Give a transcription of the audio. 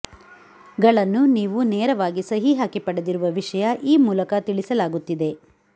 ಗಳನ್ನು ನೀವು ನೇರವಾಗಿ ಸಹಿ ಹಾಕಿ ಪಡೆದಿರುವ ವಿಷಯ ಈ ಮೂಲಕ ತಿಳಿಸಲಾಗುತ್ತಿದೆ